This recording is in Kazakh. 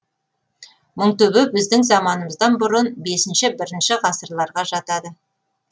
мыңтөбе біздің заманымыздан бұрын бесінші бірінші ғасырларға жатады